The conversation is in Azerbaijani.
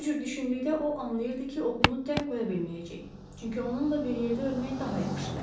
Bu cür düşündükdə o anlayırdı ki, oğlunu tək qoya bilməyəcək, çünki onunla bir yerdə ölmək daha yaxşıdır.